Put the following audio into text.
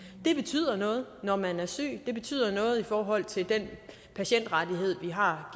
det betyder noget når man er syg det betyder noget i forhold til den patientrettighed vi har